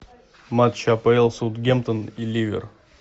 матч апл саутгемптон и ливер